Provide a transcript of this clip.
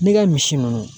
N'i ka misi ninnu